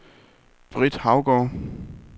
Britt Haugaard